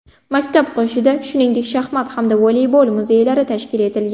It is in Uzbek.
Maktab qoshida, shuningdek, shaxmat hamda voleybol muzeylari tashkil etilgan.